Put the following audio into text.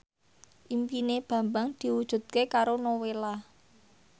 impine Bambang diwujudke karo Nowela